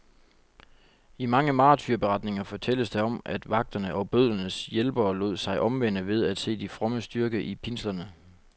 I mange martyrberetninger fortælles der om, at vagterne og bødlernes hjælpere lod sig omvende ved at se de frommes styrke i pinslerne.